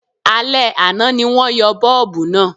Alẹ́ àná ni wọ́n yọ bọ́ọ̀bù náà